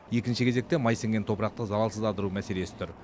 екінші кезекте май сіңген топырақты залалсыздандыру мәселесі тұр